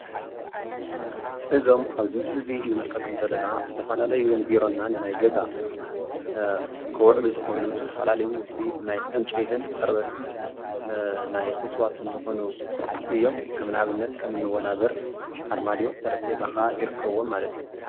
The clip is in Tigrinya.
እዞም ኣብዚ ዝምስል እዙይ ንምልከቶም ዘለና ዝተፈላላዩ ንቢሮና ንናይ ገዛና ክውዕሉ ዝኽእሉ ዝተፈላለዩ ውፅኢት ናይ ዕንጨይትን ፅረበት ናይ ዕፅዋት ዝኾኑ እዮም ።ከም ንኣብነት ወናብር ፣ኣርማድዮ፣ ጤርጼዛ ካዓ ይርከብዎም።